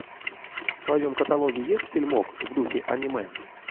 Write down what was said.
в твоем каталоге есть фильмок в духе аниме